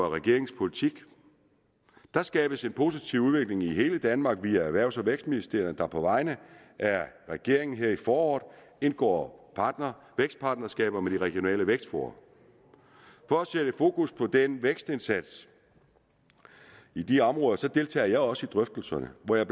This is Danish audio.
af regeringens politik der skabes en positiv udvikling i hele danmark via erhvervs og vækstministeriet der på vegne af regeringen her i foråret indgår vækstpartnerskaber med de regionale vækstfora for at sætte fokus på den vækstindsats i de områder deltager jeg også i drøftelserne og jeg